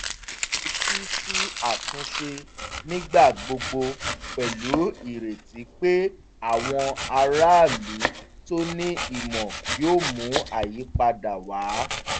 ó fetí sí àtúnṣe nígbà gbogbo pẹ̀lú ireti pé àwọn aráàlú to ní ìmọ̀ yóò mú àyípadà wá